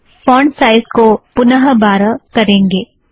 font size को पुनः बारह करेंगें